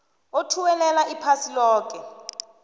othuwelela iphasi loke